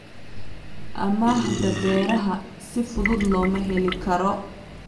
Amaahda beeraha si fudud looma heli karo.